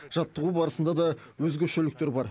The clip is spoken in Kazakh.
жаттығу барысында да өзгешеліктер бар